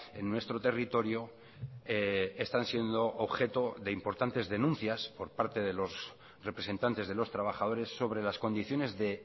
en nuestro territorio están siendo objeto de importantes denuncias por parte de los representantes de los trabajadores sobre las condiciones de